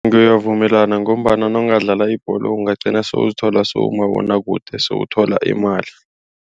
Ngiyavumelana ngombana nawungadlala ibholo ungagcina sele uzithola sewuku umabonwakude sele uthola imali.